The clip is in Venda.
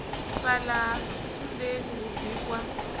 fhala ha ntsundeni hu bikwa